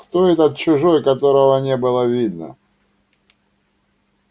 кто этот чужой которого не было видно